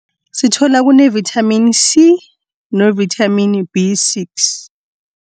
Sithola kune-vitamin C novithamini B six.